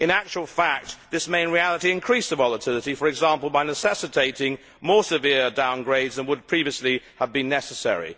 In actual fact this may in reality increase the volatility, for example by necessitating more severe downgrades than would previously have been necessary.